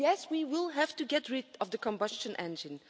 And yes, we will have to get rid of the combustion engine.